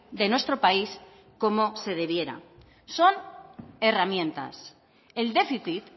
de nuestro país como se debiera son herramientas el déficit